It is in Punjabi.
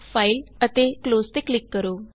ਫਾਈਲ ਤੇ ਕਲੋਜ਼ ਤੇ ਕਲਿਕ ਕਰੋ